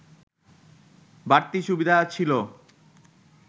বাড়তি সুবিধা ছিল